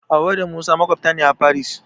Hauwa da Musa maƙwabta ne a Faris.